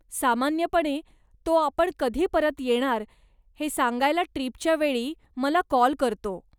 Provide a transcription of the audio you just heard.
सामान्यपणे तो आपण कधी परत येणार हे सांगायला ट्रिपच्या वेळी मला काॅल करतो.